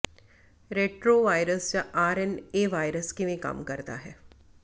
retrovirus ਜਾਂ R N A virus ਕਿਵੇਂ ਕੰਮ ਕਰਦਾ ਹੈ